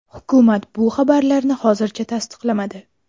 Hukumat bu xabarlarni hozircha tasdiqlamadi.